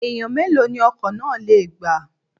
Èèyàn mélòó ni ọkọ̀ náà lè gbà?